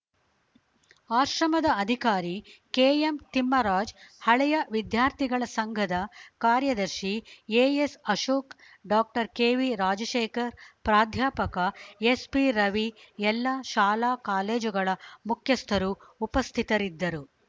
ಆಶ್ರಮದ ಅಧಿಕಾರಿ ಕೆಎಂ ತಿಮ್ಮರಾಜ್‌ ಹಳೆಯ ವಿದ್ಯಾರ್ಥಿಗಳ ಸಂಘದ ಕಾರ್ಯದರ್ಶಿ AS Ashok doctor KV Rajashekar ಪ್ರಾಧ್ಯಾಪಕ ಎಸ್‌ಪಿ ರವಿ ಎಲ್ಲ ಶಾಲಾ ಕಾಲೇಜುಗಳ ಮುಖ್ಯಸ್ಥರು ಉಪಸ್ಥಿತರಿದ್ದರು